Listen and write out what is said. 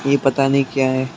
ये पता नहीं क्या है।